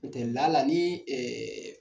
N'o tɛ lala ni ɛe